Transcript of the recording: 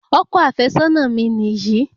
Ọkọ àfẹ́sọ́nà mi niyi